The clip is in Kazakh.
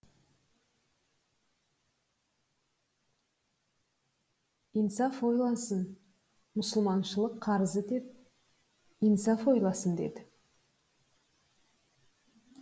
инсаф ойласын мұсылманшылық қарызы деп инсаф ойласын деді